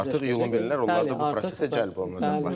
Artıq iyulun 1-dən onlar da bu prosesə cəlb olunacaq.